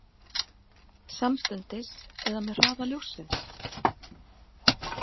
Samstundis eða með hraða ljóssins?